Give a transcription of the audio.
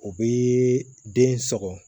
O bɛ den sɔgɔ